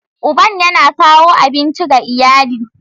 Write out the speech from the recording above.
Uban yana kawo abinci ga iyali.